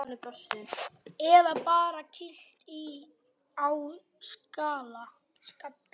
Eða bara kýlt á skalla!